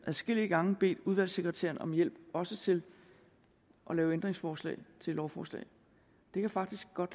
adskillige gange bedt udvalgssekretæren om hjælp også til at lave ændringsforslag til lovforslag det kan faktisk godt